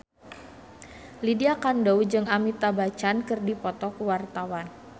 Lydia Kandou jeung Amitabh Bachchan keur dipoto ku wartawan